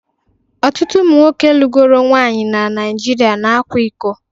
Ọtụtụ ụmụ nwoke lugoro nwunye na Nigeria na-akwa iko.